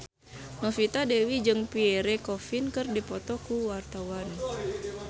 Novita Dewi jeung Pierre Coffin keur dipoto ku wartawan